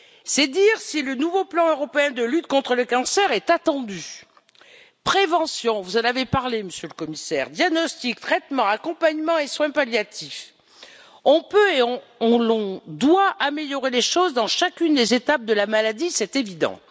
C'est dire si le nouveau plan européen de lutte contre le cancer est attendu prévention vous en avez parlé, Monsieur le Commissaire diagnostic, traitement, accompagnement et soins palliatifs... On peut et on doit améliorer les choses dans chacune des étapes de la maladie, c'est évident.